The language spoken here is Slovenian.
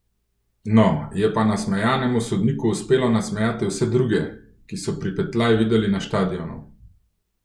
No, je pa nasmejanemu sodniku uspelo nasmejati vse druge, ki so pripetljaj videli na štadionu.